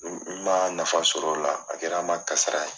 N ma nafa sɔrɔ o la a kɛra n ma kasara ye.